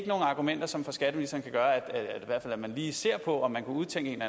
argumenter som for skatteministeren kan gøre at man lige ser på om man kan udtænke en